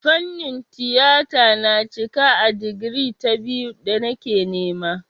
Fannin tiyata na cika a digiri ta biyu da nake nema.